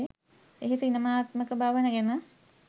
එහි සිනමාත්මක බව ගැන